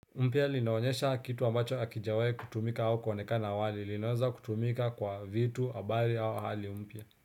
Pia linaonyesha kitu ambacho hakijawai kutumika au kwaonekana wali linaweza kutumika kwa vitu habari au hali mpya.